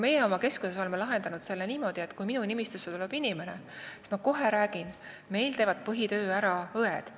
Meie oleme oma keskuses lahendanud selle niimoodi, et kui inimene tuleb minu nimistusse, siis ma räägin talle kohe, et meil teevad põhitöö ära õed.